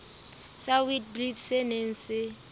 sa witblits se neng se